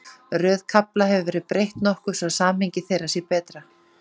Röð kafla hefur verið breytt nokkuð svo að samhengi þeirra sé betra.